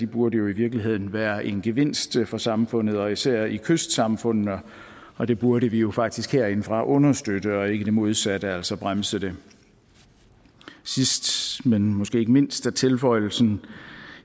burde jo i virkeligheden være en gevinst for samfundet især i kystsamfundene og det burde vi jo faktisk herindefra understøtte og ikke gøre det modsatte altså bremse det sidst men måske ikke mindst vil tilføjelsen